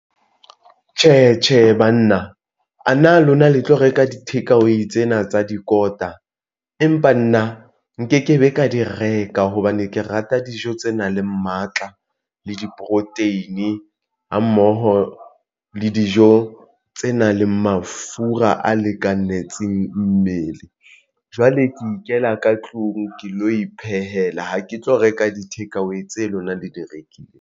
Tjhe, Tjhe, banna a na lona le tlo reka di-takeaway tsena tsa dikota, empa nna nke ke be ka di reka hobane ke rata dijo tse nang le matla le di-protein ha mmoho le dijo tse nang le mafura a lekanetseng mmele. Jwale ke ikela ka tlung ke lo iphehela ha ke tlo reka di-takeaway tse lona le di rekileng.